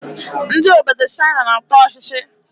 Ndị obodo Chaịna na-ata ọchịchị.